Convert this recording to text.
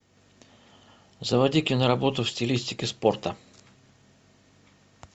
заводи киноработу в стилистике спорта